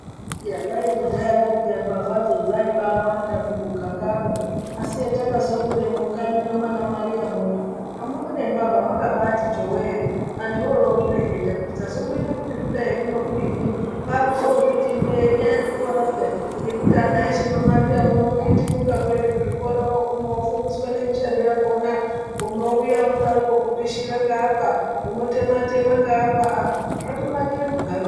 Iyaa kwai kudhaya kwo peyaa mbavha dzo dzaibawanda mumugangamwo. Asi hatakazokura mwo mukanyi muno mwaana Mariya muno, amuna nembavha mwakabaati chowee. Antu ondozvireketa kuti chazomboita kuti zvidai kuno kudini. Kwakuzozviti ndee inyaya ye zvikora peyaa ngekuti ana eshe mwaMariya muno okhitimuka kuenda kuzvikora. Oguma ofundiswa nemishando yakhona. Unouya unodarokwo kupishira ngeapa, unotema tema ngeapa. Aah zvatonakire muganga.